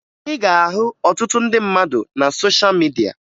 Ị ga-ahụ ọtụtụ ndị mmadụ na sosha midia